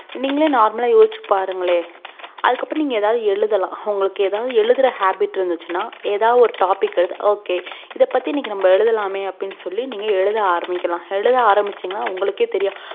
நீங்களே normal ஆஹ் யோசிச்சு பாருங்களே அதுக்கு அப்புறம் நீங்க எழுதலாம் உங்களுக்கு எழுதுற habbit இறுந்துச்சுனாஎதா ஒரு topicok இத பத்தி நம்ம எழுதலாமே அப்புடின்னு சொல்லி எழுத ஆரம்பிகக்கலாம் எழுத ஆரம்பிசிங்கான உங்களுக்கே தெரியும்